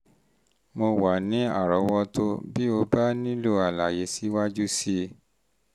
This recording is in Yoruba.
mo wà ní àrọ́wọ́tó bí o bá nílò àlàyé síwájú sí i